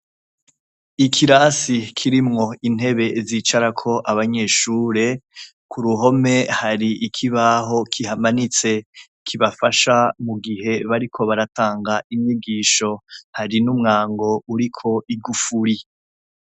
Ikirasi cubakishijw' amatafar' ahiye, harimw' uturongo tumanuka nudukitse, dusiz' irangi ryera, mu kuboko kw' iburyo har' ikirangaminsi kihamanitse, hejuru yaco har' utudirisha dutoduto twubatse mu matafari dusiz' irangi ryera, kirimw' intebe zicarak' abanyeshure, kuruhome har' ikibaho kihamanitse kibafasha mugihe bariko baratang' inyigisho, hari n' umwango urik' igufuri.